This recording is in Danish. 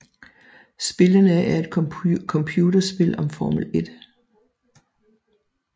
Spillene er et computerspil om Formel 1